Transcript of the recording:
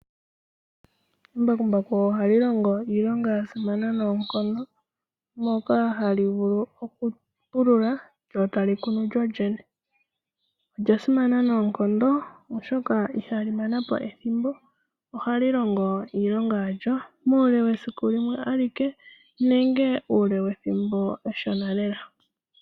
Embakumbaku oha li longo iilonga ya simana noonkondo, moka ha li vulu okupulula lyo ta li kunu lyo lyene. Olya simana noonkondo, oshoka iha li mana po ethimbo, oha li longo iilonga ya lyo. Muule wesiku limwe alike, nenge uule wethimbo eshona lela.